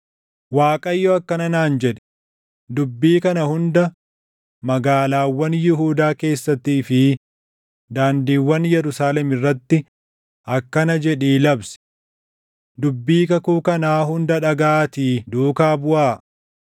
Waaqayyo akkana naan jedhe; “Dubbii kana hunda magaalaawwan Yihuudaa keessattii fi daandiiwwan Yerusaalem irratti akkana jedhii labsi; ‘Dubbii kakuu kanaa hunda dhagaʼaatii duukaa buʼaa.